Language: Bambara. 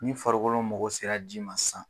Ni farikolo mago sera ji ma sisan.